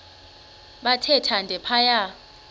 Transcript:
bathe thande phaya